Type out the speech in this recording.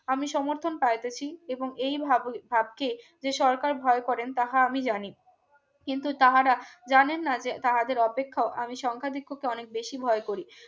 আমি আমি সমর্থন পাইতেছি এবং এইভাবে ভাবকে যে সরকার ভয় করেন তাহা আমি জানি কিন্তু তাহারা জানেন না যে তাহাদের অপেক্ষাও আমি সংখ্যা ধিক্ষকে অনেক বেশি ভয় করি